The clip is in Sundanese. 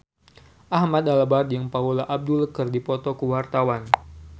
Ahmad Albar jeung Paula Abdul keur dipoto ku wartawan